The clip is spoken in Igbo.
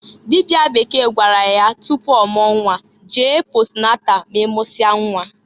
Dịbịa Bekee gwara ya tupu ọmụọ nnwa, "Jee posnatal ma i mụsịa nnwa!"